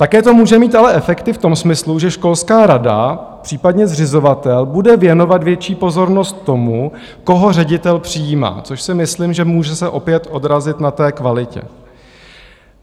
Také to může mít ale efekt i v tom smyslu, že školská rada, případně zřizovatel, bude věnovat větší pozornost tomu, koho ředitel přijímá, což si myslím, že může se opět odrazit na kvalitě.